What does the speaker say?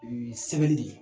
Sɛbɛli de ye